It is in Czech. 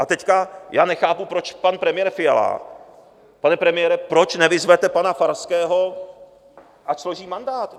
A teď já nechápu, proč pan premiér Fiala, pane premiére, proč nevyzvete pana Farského, ať složí mandát.